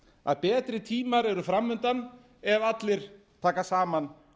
að betri tímar eru framundan ef allir taka saman